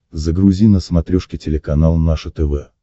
загрузи на смотрешке телеканал наше тв